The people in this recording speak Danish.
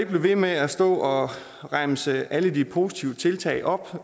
blive ved med at stå og remse alle de positive tiltag op